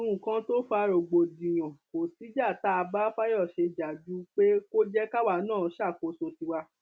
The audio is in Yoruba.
nǹkan tó fa rògbòdìyàn kò síjà tá a bá fayọṣe jà ju pé kó jẹ káwa náà ṣàkóso tiwa